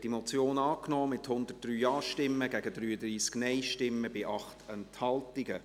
Sie haben diese Motion angenommen, mit 103 Ja- gegen 33 Nein-Stimmen bei 8 Enthaltungen.